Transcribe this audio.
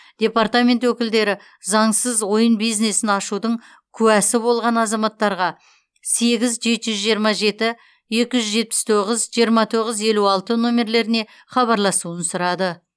департамент өкілдері заңсыз ойын бизнесін ашудың куәсі болған азаматтарға сегіз жеті жүз жиырма жеті екі жүз жетпіс тоғыз жиырма тоғыз елу алты нөмірлеріне хабарласуын сұрады